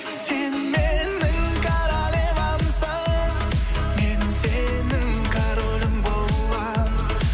сен менің королевамсың мен сенің королің боламын